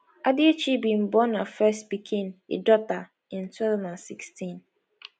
adichie bin born her first pikin a daughter in 2016